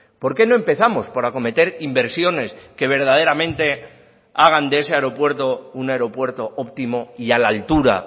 por qué no empezamos por acometer inversiones que verdaderamente hagan de ese aeropuerto un aeropuerto óptimo y a la altura